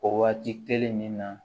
O waati kelen nin na